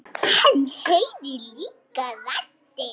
Hann heyrir líka raddir.